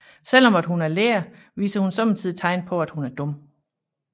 Selvom at hun er lærer viser hun sommetider tegn på at hun er dum